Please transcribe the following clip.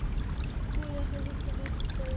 puo ya hore tshebediso ya